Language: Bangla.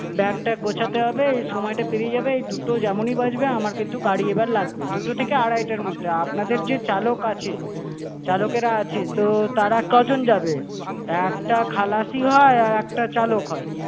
bag ট্যাগ গোছাতে হবে, এই সময়টা পেরিয়ে যাবে। এই দুটো যেমন ই বাজবে আমার কিন্তু গাড়ি এবারে লাগবে, দুটো থেকে আড়াইটার মধ্যে। আপনাদের যে চালক আছে, চালকেরা আছে, তো তারা কজন যাবে? একটা খালাসি হয় আর একটা চালক হয়।